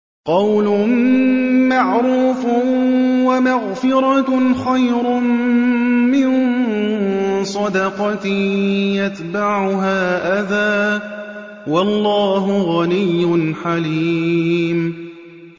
۞ قَوْلٌ مَّعْرُوفٌ وَمَغْفِرَةٌ خَيْرٌ مِّن صَدَقَةٍ يَتْبَعُهَا أَذًى ۗ وَاللَّهُ غَنِيٌّ حَلِيمٌ